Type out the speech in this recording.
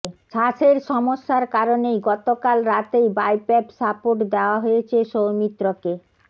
শ্বাসের সমস্যার কারণেই গতকাল রাতেই বাইপ্যাপ সাপোর্ট দেওয়া হয়েছে সৌমিত্রকে